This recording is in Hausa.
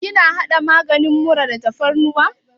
Kina haɗa maganin mura da tafarnuwa?